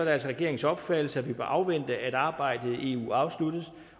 er altså regeringens opfattelse at vi bør afvente at arbejdet i eu afsluttes